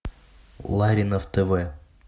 ларинов тв